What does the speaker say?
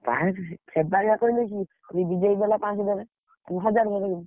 କାହିଁକି ସେ, ସେବାଗିଆ କରିବି କି, ଦେଇଗଲା ମୁଁ ହଜାର ପକେଇଦେବି